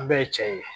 An bɛɛ ye cɛ ye